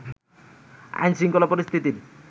আইনশৃঙ্খলা পরিস্থিতির